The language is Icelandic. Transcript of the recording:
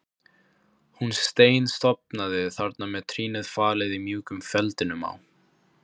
Hún steinsofnaði þarna með trýnið falið í mjúkum feldinum á